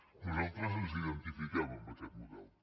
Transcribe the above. nosaltres ens identifiquem amb aquest model